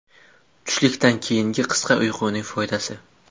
Tushlikdan keyingi qisqa uyquning foydasi.